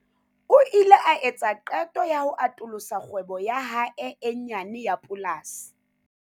O ile a etsa qeto ya ho atolosa kgwebo ya hae e nyane ya polasi.